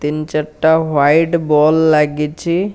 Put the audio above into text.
ତିନଚାରି ଟା white ball ଲାଗିଛି।